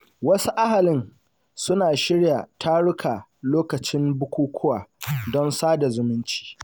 Wasu ahalin, suna shirya taruka lokacin bukukuwa don sada zumunci.